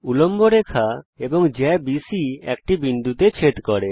উল্লম্ব রেখা এবং জ্যা বিসি একটি বিন্দুতে ছেদ করে